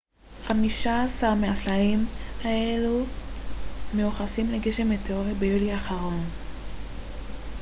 חמישה-עשר מהסלעים הללו מיוחסים לגשם המטאוריטים ביולי האחרון